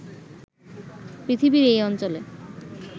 পৃথিবীর এই অঞ্চলে